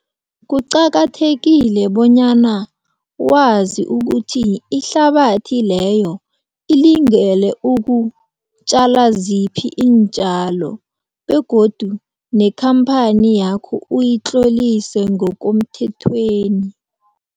Kuqakathekile bonyana wazi ukuthi ihlabathi leyo ilingene ukutjala ziphi iintjalo begodu nekhamphani yakho uyitlollise ngokomthethweni.